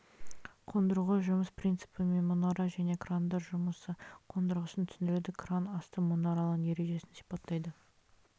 қондырғы жұмыс принципі мен мұнара және крандар жұмысы қондырғысын түсіндіреді кран асты мұнаралары ережесін сипаттайды